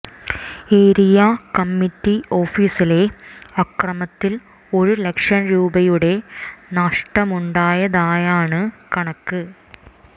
area committee ഓഫീസിലെ അക്രമത്തിൽ ഒരു ലക്ഷം രൂപയുടെ നഷ്ടമുണ്ടായതായാണ് കണക്ക്